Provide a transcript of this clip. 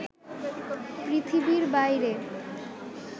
পৃথিবীর বাইরে